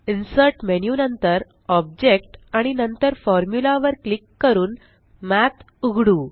insert menu नंतर object आणि नंतर फॉर्म्युला वर क्लिक करून मठ उघडू